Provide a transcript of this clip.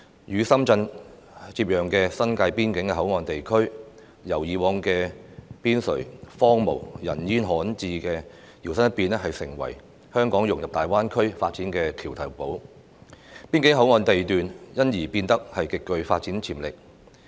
與深圳接壤的新界邊境口岸地區，由以往的邊陲、荒蕪、人煙罕至，搖身一變成為香港融入大灣區發展的橋頭堡，邊境口岸地段因而變得極具發展潛力。